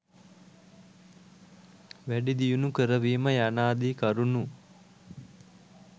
වැඩිදියුණු කරවීම යනාදී කරුණු